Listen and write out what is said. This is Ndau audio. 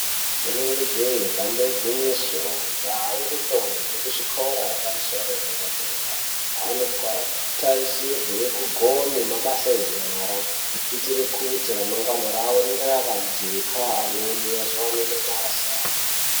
Inenge jee damba igwinyiso, majaha ngendombi dzekuzvikora zvepamusoro yedera-dera, anoka tarisirwe kugone mabasa enyara, kuitire kuti ramangwana ravo ringe rakajeka amweni azowane mabasa.